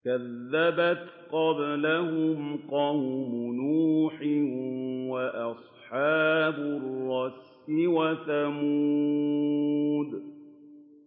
كَذَّبَتْ قَبْلَهُمْ قَوْمُ نُوحٍ وَأَصْحَابُ الرَّسِّ وَثَمُودُ